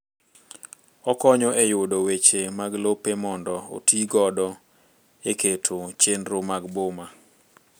Okonyo e yudo weche mag lope mondo otigodo e keto chenro mag boma.